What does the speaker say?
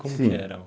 Como que era o?